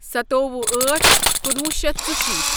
سَتووُہ أٹھ کنُوُہ شیتھ ژشیٖتھ